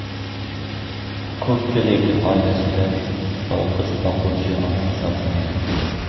Ko‘pchiligi oilasida yolg‘iz boquvchi ona hisoblanadi.